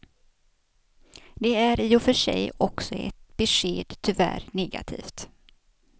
Det är i och för sig också ett besked, tyvärr negativt.